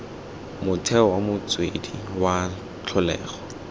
motheo wa motswedi wa tlholego